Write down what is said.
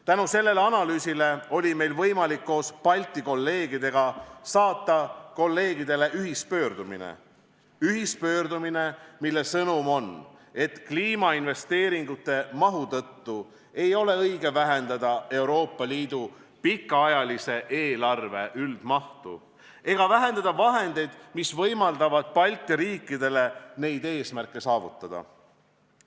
Tänu sellele analüüsile oli meil võimalik koos Balti kolleegidega saata kolleegidele ühispöördumine, mille sõnum on, et kliimainvesteeringute mahu tõttu ei ole õige vähendada Euroopa Liidu pikaajalise eelarve üldmahtu ega vähendada vahendeid, mis võimaldavad Balti riikidel neid eesmärke saavutada.